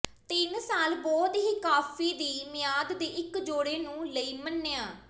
ਤਿੰਨ ਸਾਲ ਬਹੁਤ ਹੀ ਕਾਫ਼ੀ ਦੀ ਮਿਆਦ ਦੇ ਇੱਕ ਜੋੜੇ ਨੂੰ ਲਈ ਮੰਨਿਆ